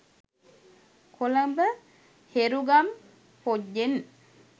කොළඹ හෙරුගම් පොජ්ජෙන්